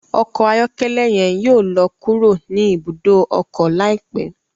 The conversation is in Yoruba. Ọkọ ayọkẹlẹ yen yóò lọ kúrò ni ibùdó ọkọ laipẹ